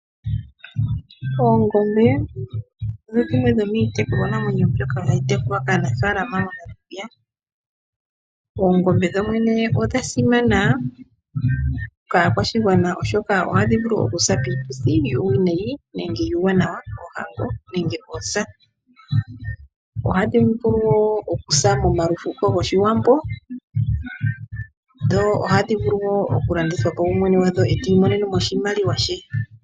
Oongombe odho dhimwe dhomiitekulwanamwenyo hayi tekulwa kaanafaalama moNamibia. Oongombe dhodhene odha simana kaakwashigwana, oshoka ohadhi vulu okusa piituthi yuuwanawa nenge yuuwinayi, oohango nenge oosa. Ohadhi vulu wo okusa momalufuko gOshiwambo. Ohadhi vulu wo okulandithwa po ye mwene gwadho ti imonene mo oshimaliwa she.